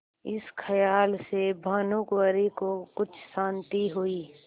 इस खयाल से भानुकुँवरि को कुछ शान्ति हुई